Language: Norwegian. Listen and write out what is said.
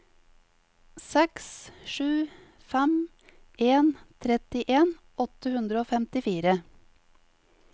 seks sju fem en trettien åtte hundre og femtifire